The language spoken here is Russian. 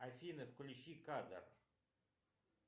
афина включи кадр